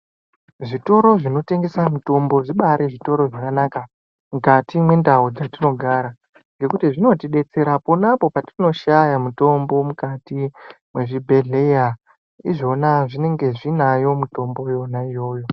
Zvitoro zvinotengesa mitombo zvibari zvitoro zvakanaka mwukati mwendau dzatinogara ngekuti zvinotidetsera ponapo petinoshaya mitombo mukati mwemuzvibhedhleya. Izvona zvinenga zvinayo mitombo iyona iyoyo.